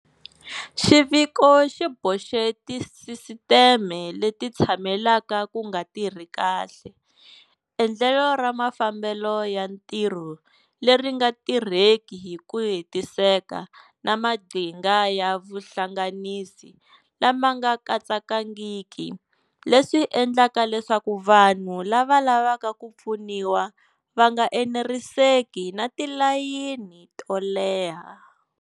Xiviko xi boxe tisisiteme leti tshamelaka ku nga tirhi kahle, endlelo ra mafambelo ya ntirho leri nga tirheki hi ku hetiseka na maqhinga ya vuhlanganisi lama nga katsanangiki leswi endlaka leswaku vanhu lava lavaka ku pfuniwa va nga eneriseki na ti layini to leha.